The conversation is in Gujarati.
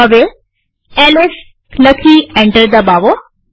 હવે એલએસ લખી એન્ટર દબાવો